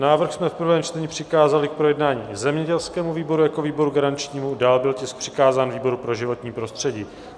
Návrh jsme v prvém čtení přikázali k projednání zemědělskému výboru jako výboru garančnímu, dále byl tisk přikázán výboru pro životní prostředí.